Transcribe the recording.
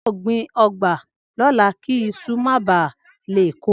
Ao gbin ogba lola ki iṣu ma baa le kokoro